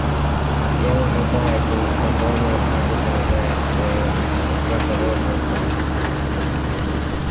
я уже да иду успокоил его хагрид залезая в своё кротовое пальто